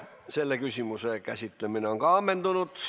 Selle küsimuse käsitlemine on ammendunud.